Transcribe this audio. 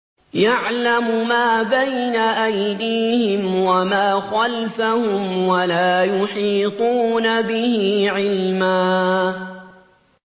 يَعْلَمُ مَا بَيْنَ أَيْدِيهِمْ وَمَا خَلْفَهُمْ وَلَا يُحِيطُونَ بِهِ عِلْمًا